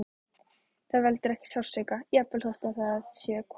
Það veldur ekki sársauka, jafnvel þótt við það sé komið.